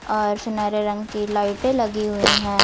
और सुनहरे रंग की लाइटे लगी हुई हैं।